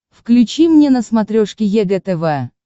включи мне на смотрешке егэ тв